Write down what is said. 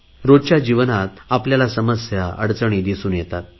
रोजच्या जीवनात आपल्याला समस्या अडचणी दिसून येतात